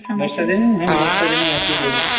ବର୍ଷା ଦିନେ ହଁ ବର୍ଷା ଦିନେ ବହୁତ୍